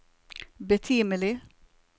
betimelig